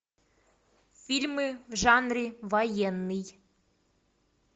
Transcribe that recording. фильмы в жанре военный